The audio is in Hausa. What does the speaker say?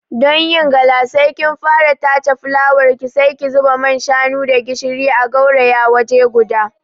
Don yin gala, sai ki fara tace fulawarki, sai ki zuba man shanu da gishiri a gauraya waje guda.